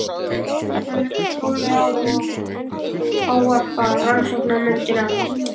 Hann leggur tólið á og ávarpar rannsóknarnefndina.